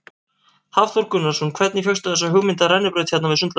Hafþór Gunnarsson: Hvernig fékkstu þessa hugmynd af rennibraut hérna við sundlaugina?